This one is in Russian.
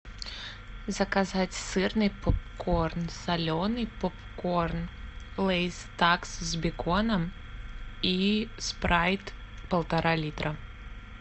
заказать сырный попкорн соленый попкорн лейс такс с беконом и спрайт полтора литра